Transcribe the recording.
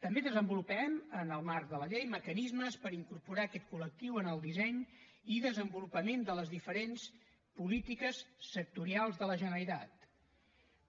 també desenvolupem en el marc de la llei mecanismes per incorporar aquest collectiu en el disseny i desenvolupament de les diferents polítiques sectorials de la generalitat